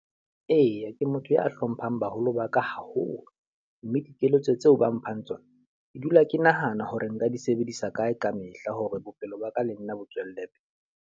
Eya, ke motho ya hlomphang baholo ba ka haholo. Mme dikeletso tseo ba mphang tsona, ke dula ke nahana hore nka di sebedisa kae ka mehla hore bophelo ba ka le nna bo tswelle pele.